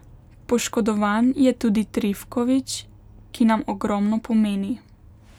Poškodovan je tudi Trifković, ki nam ogromno pomeni.